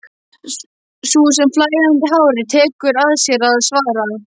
Sú með flæðandi hárið tekur að sér að svara.